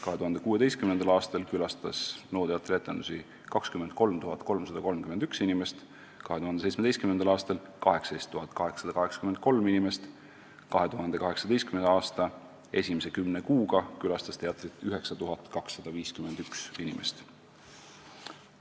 " 2016. aastal külastas NO teatri etendusi 23 331 inimest, 2017. aastal 18 883 inimest, 2018. aasta esimese kümne kuuga külastas teatrit 9251 inimest.